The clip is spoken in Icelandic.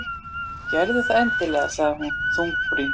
Gerðu það endilega- sagði hún þungbrýnd.